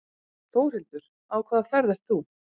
Þórhildur: Á hvaða ferð ert þú?